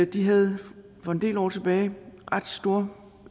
de havde for en del år tilbage ret store